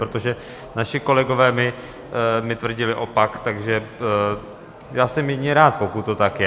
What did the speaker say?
Protože naši kolegové mi tvrdili opak, takže já jsem jedině rád, pokud to tak je.